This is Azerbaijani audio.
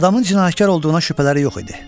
Adamın cinayətkar olduğuna şübhələri yox idi.